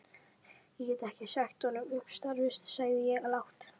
Ég get ekki sagt honum upp starfi sagði ég lágt.